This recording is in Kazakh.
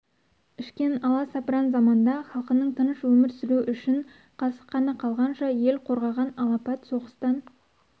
ішкен аласапыран заманда халқының тыныш өмір сүруі үшін қасық қаны қалғанша ел қорғаған алапыт соғыстан